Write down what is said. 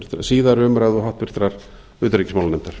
síðari umræðu og háttvirtrar utanríkismálanefndar